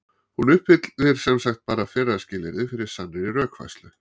hún uppfyllir sem sagt bara fyrra skilyrðið fyrir sannri rökfærslu